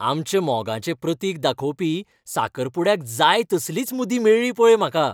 आमच्या मोगाचें प्रतीक दाखोवपी साकरपुड्याक जाय तसलीच मुदी मेळ्ळी पळय म्हाका.